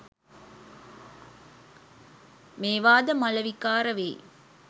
මේවා ද මල විකාර වෙයි